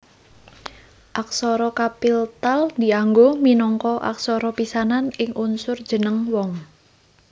Aksara kapiltal dianggo minangka aksara pisanan ing unsur jeneng wong